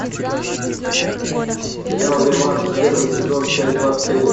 сериал реванш первый сезон часть двадцать один